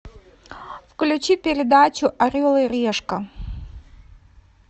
включи передачу орел и решка